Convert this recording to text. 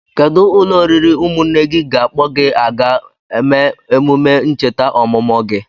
Kedụ ụlọ nri ụmụnne gị ga-akpọ gị aga eme emume ncheta ọmụmụ gị?